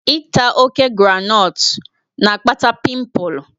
Ịta oke groundnut na-akpata pịmpul.